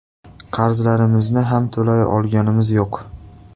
Qarzlarimizni ham to‘lay olganimiz yo‘q.